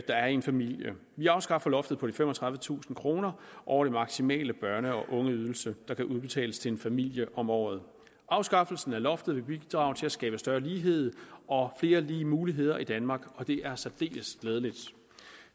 er i en familie vi afskaffer loftet på de femogtredivetusind kroner over den maksimale børne og ungeydelse der kan udbetales til en familie om året afskaffelsen af loftet vil bidrage til at skabe større lighed og flere og lige muligheder i danmark og det er særdeles glædeligt